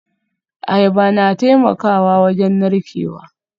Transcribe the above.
Ayaba na taimakawa wajen narkewa